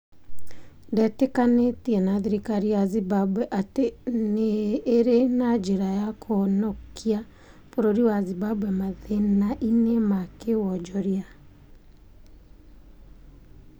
Ndetĩkanĩtie na thirikari ya Zimbabwe atĩ nĩ ĩrĩ na njĩra ya kũhonokia bũrũri wa Zimbabwe mathĩnainĩ ma kĩ wonjoria.